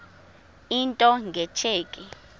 into nge tsheki